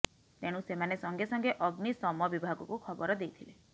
ତେଣୁ ସେମାନେ ସଙ୍ଗେ ସଙ୍ଗେ ଅଗ୍ନିଶମ ବିଭାଗକୁ ଖବର ଦେଇଥିଲେ